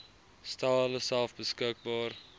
stel hulleself beskikbaar